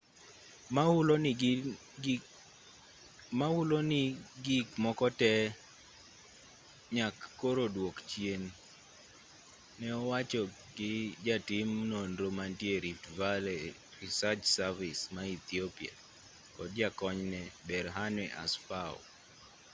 ma hulo ni gik moko tee nyak koro dwok chien ne owachi gi jatiim nonro mantie e rift valley research service ma ethiopia kod jakonyne berhane asfaw